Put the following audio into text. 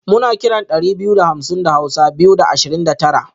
muna kiran dari biyu da hamsin da hausa (Biyu da Ashirin da Tara)